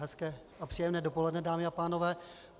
Hezké a příjemné dopoledne, dámy a pánové.